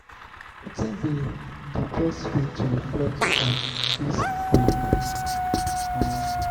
wetin be di best way to reflect on di day? um